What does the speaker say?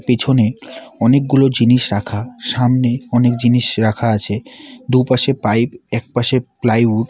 পিছনে অনেকগুলো জিনিস রাখা সামনে অনেক জিনিস রাখা আছে দু'পাশে পাইপ একপাশে প্লাইউড --